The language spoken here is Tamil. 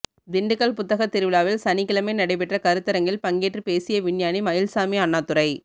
திண்டுக்கல் புத்தகத் திருவிழாவில் சனிக்கிழமை நடைபெற்ற கருத்தரங்கில் பங்கேற்று பேசிய விஞ்ஞானி மயில்சாமி அண்ணாதுரை